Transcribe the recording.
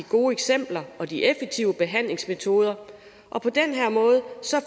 gode eksempler og de effektive behandlingsmetoder og på den her måde